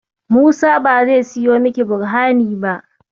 Musa ba zai siyo miki Borhani ba.